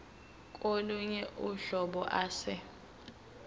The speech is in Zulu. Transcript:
kolunye uhlobo ase